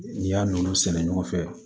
N'i y'a nɔnɔ sɛnɛ ɲɔgɔn fɛ